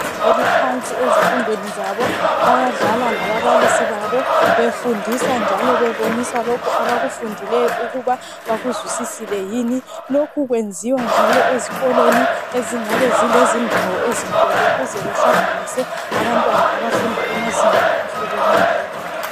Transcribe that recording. Abasezingeni eliphansi ezifundweni zabo bayadlala lababalisi babo befundisa njalo bebonisa lokhu abakufundileyo ukuthi bakuzwisisile yini lokhu kwenziwa njalo ezikolweni ezingabe zilendawo ezinkulu ukuze behlanganise abantwana abafunda emazingeni ahlukeneyo